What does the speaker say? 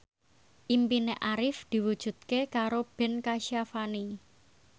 impine Arif diwujudke karo Ben Kasyafani